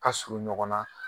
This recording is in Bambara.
Ka surun ɲɔgɔn na